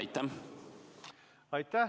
Aitäh!